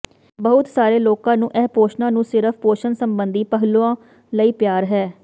ਬਹੁਤ ਸਾਰੇ ਲੋਕਾਂ ਨੂੰ ਇਹ ਪੋਸਣਾਂ ਨੂੰ ਸਿਰਫ਼ ਪੋਸ਼ਣ ਸੰਬੰਧੀ ਪਹਿਲੂਆਂ ਲਈ ਪਿਆਰ ਹੈ